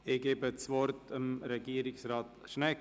Ich gebe das Wort an Regierungsrat Schnegg;